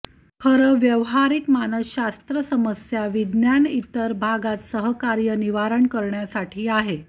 खरं व्यावहारिक मानसशास्त्र समस्या विज्ञान इतर भागात सहकार्य आहे निराकरण करण्यासाठी आहे